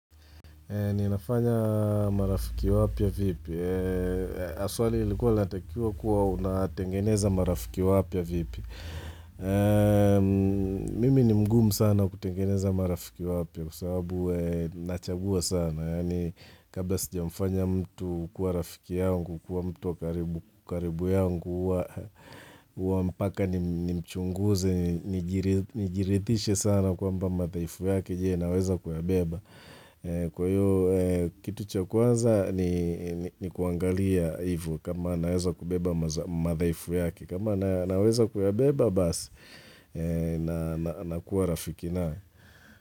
Ninafanya marafiki wapya vipi. Na swali lilikuwa linatakiwa kuwa unatengeneza marafiki wapya vipi. Mimi ni mgumu sana kutengeneza marafiki wapya kwa sababu nachagua sana. Yaani kabla sijamfanya mtu kuwa rafiki yangu, kuwa mtu wa karibu yangu, huwa mpaka nimchunguze, nijiridhishe sana kwamba madhaifu yake, je naweza kuyabeba. Kwa hiyo kitu cha kwanza ni kuangalia hivo kama naweza kubeba madhaifu yake, kama naweza kuyabeba basi nakuwa rafiki naye.